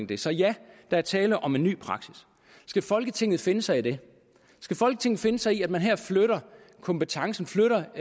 det så ja der er tale om en ny praksis skal folketinget finde sig i det skal folketinget finde sig i at man her flytter kompetencen flytter